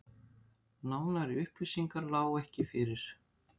Nánari upplýsingar lágu ekki fyrir